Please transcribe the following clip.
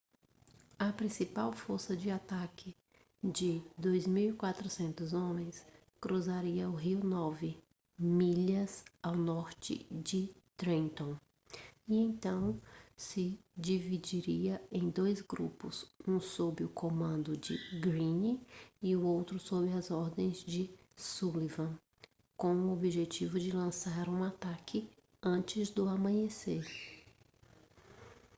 a principal força de ataque de 2.400 homens cruzaria o rio nove milhas ao norte de trenton e então se dividiria em dois grupos um sob o comando de greene e outro sob as ordens de sullivan com o objetivo de lançar um ataque antes do amanhecer